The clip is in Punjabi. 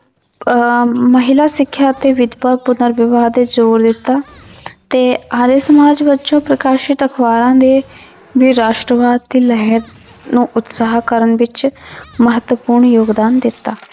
ਅਹ ਮਹਿਲਾ ਸਿੱਖਿਆ ਅਤੇ ਵਿਦਵਾ ਪੁਨਰ ਵਿਵਾਹ ਤੇ ਜ਼ੋਰ ਦਿੱਤਾ ਤੇ ਆਰੀਆ ਸਮਾਜ ਵਜੋਂ ਪ੍ਰਕਾਸ਼ਿਤ ਅਖ਼ਬਾਰਾਂ ਦੇ ਦੀ ਰਾਸ਼ਟਰਵਾਦ ਦੀ ਲਹਿਰ ਨੂੰ ਉਤਸਾਹ ਕਰਨ ਵਿੱਚ ਮਹੱਤਵਪੂਰਨ ਯੋਗਦਾਨ ਦਿੱਤਾ।